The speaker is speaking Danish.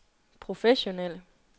professionelle